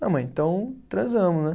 Não, mãe, então transamos, né?